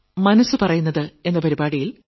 മനസ്സ് പറയുന്നത് 2